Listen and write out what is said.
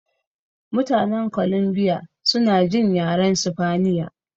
Mutanen Columbia suna jin yaren sifaniya